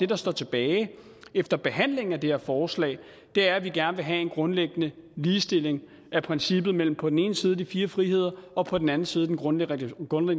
der står tilbage efter behandlingen af det her forslag er at vi gerne vil have grundlæggende ligestilling af princippet mellem på den ene side de fire friheder og på den anden side den grundlæggende